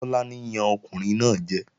Tọ́lání yan ọkùnrin náà jẹ